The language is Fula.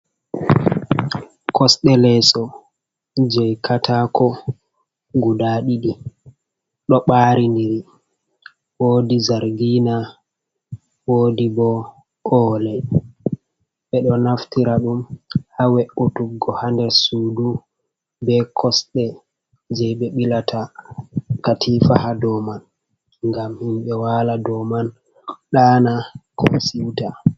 Kosde leeso je'i ƙatako guda diɗi do barindiri, wodi zargi'na wodi bo ole'i bedo naftira dum ha we’utuggo ha nder suɗu be kosde je' be bilata katifa ha dow man gam himbe wala do man ɗana, ko siwta.